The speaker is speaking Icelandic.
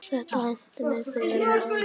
Þetta henti mig þegar við